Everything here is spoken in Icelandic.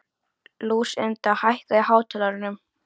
Lúsinda, hækkaðu í hátalaranum.